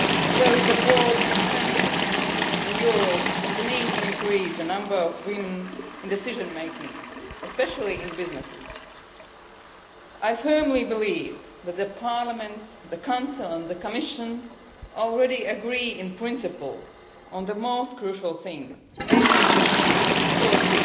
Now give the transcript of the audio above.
There is a broad consensus in Europe on the need to increase the number of women in decision making, especially in businesses. I firmly believe that Parliament, the Council and the Commission already agree in principle on the most crucial thing, namely that equality